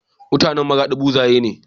mutAnan maradi buzaye ne